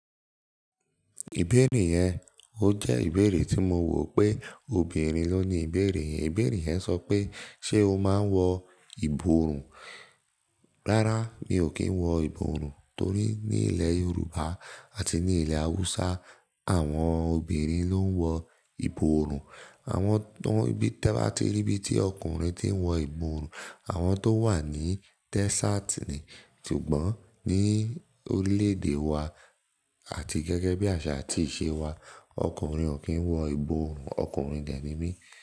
Ìbéèrè yẹn, ó jẹ́ ìbéèrè tí mo wò pé obìnrin ló ń ní ìbéèrè. Ìbéèrè yẹn sọ pé ṣe o máa ń wọ ìborùn? Rárá, mi ò kí ń wọ ìborùn torí ní ilẹ̀ Yorùbá àti ní ilẹ̀ Hausa, àwọn obìnrin ló ń wọ ìborùn. Àwọn tó, bí, tí ẹ bá ti rí bí tí ọkùnrin ti ń wọ ìborùn, àwọn tó wà ní desert ni, ṣùgbọ́n ní orílẹ̀-èdè wa àti gẹ́gẹ́ bí àṣà àti ìṣe wa, ọkùnrin ò kí ń wọ ìborùn. Ọkùnrin dẹ̀ ni mí.